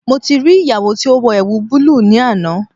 Mo ti ri iyawo ti o wọ ẹwu bulu ni ana